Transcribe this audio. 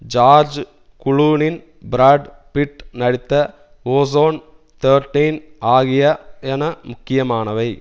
George Clooney Brad Pitt நடித்த ocean's thirteen ஆகியன முக்கியமானவை